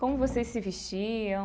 Como vocês se vestiam?